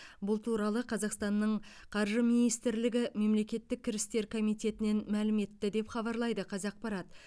бұл туралы қазақстанның қаржы министрлігі мемлекеттік кірістер комитетінен мәлім етті деп хабарлайды қазақпарат